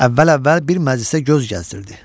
Əvvəl-əvvəl bir məclisə göz gəzdirdi.